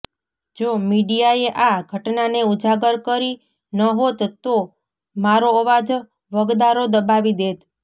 જો મીડિયાએ આ ઘટનાને ઉજાગર કરી ન હોત તો મારો અવાજ વગદારો દબાવી દેત